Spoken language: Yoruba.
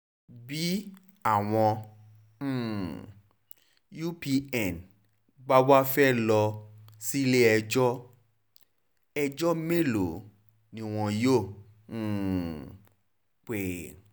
bí bí àwọn um upas bá wàá fẹ́ẹ́ lọ sílé-ẹjọ́ ẹjọ́ mélòó ni wọn yóò um pè